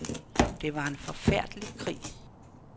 Det var en forfærdelig krig.